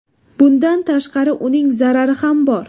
Bundan tashqari, uning zarari ham bor.